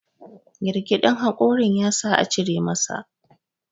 girgidin hakorin ya sa a cire masa